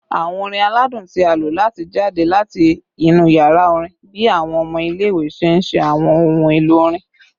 Awọn orin aladun ti a lo lati jade lati inu yara orin bi awọn ọmọ ile-iwe ṣe nṣe awọn ohun elo orin